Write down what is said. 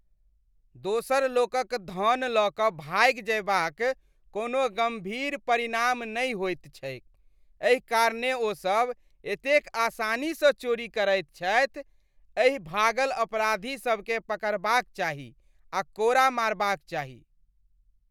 दोसर लोकक धन लऽ कऽ भागि जयबाक कोनो गम्भीर परिणाम नहि होइत छैक, एहि कारणेँ ओसभ एतेक आसानीसँ चोरी करैत छथि। एहि भागल अपराधीसभकेँ पकड़बाक चाही आ कोड़ा मारबाक चाही।